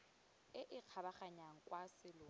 e e kgabaganyang kwa selong